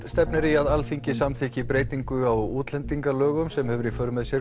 stefnir í að Alþingi samþykki breytingu á útlendingalögum sem hefur í för með sér